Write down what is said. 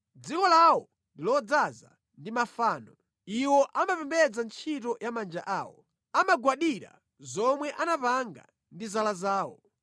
Dziko lawo ndi lodzaza ndi mafano; iwo amapembedza ntchito ya manja awo, amagwadira zomwe anapanga ndi zala zawo.